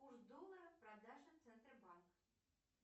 курс доллара продажа центробанк